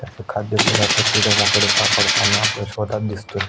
असे खाद्य पदार्थ किडे मकोडे सापडताना आपल्या शोधात दिसतोय.